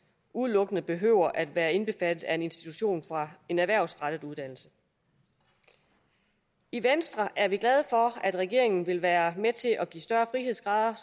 udelukkende behøver at være indbefattet af en institution fra en erhvervsrettet uddannelse i venstre er vi glade for at regeringen vil være med til at give større frihedsgrader